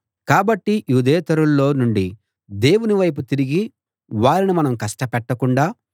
కాబట్టి యూదేతరుల్లో నుండి దేవుని వైపు తిరిగే వారిని మనం కష్టపెట్టకుండా